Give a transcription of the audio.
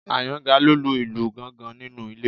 Àyàngalú ń lu ìlù gángan nínú ilé